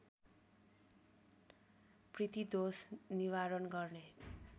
पितृदोष निवारण गर्ने